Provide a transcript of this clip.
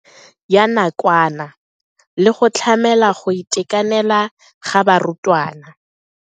Ya nakwana le go tlamela go itekanela ga barutwana.